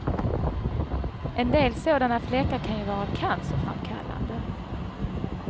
En del sådana fläckar kan ju vara cancerframkallande.